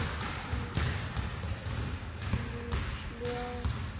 Flórída var annar heimur.